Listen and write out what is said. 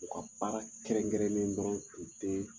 U ka baara kɛrɛn-kɛrɛnnen dɔrɔn tun ten